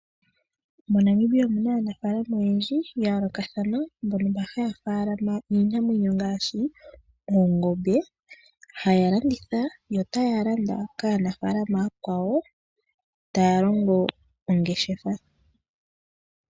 MoNamibia omuna aanafaalama oyendji ya yoolokathana mbono haya faalama iinamwenyo ngaashi oongombe, haya landitha yo ta ya landa kaanafaalama ooyakwawo, taya longo ongeshefa.